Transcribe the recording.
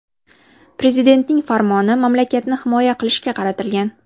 Prezidentning farmoni mamlakatni himoya qilishga qaratilgan.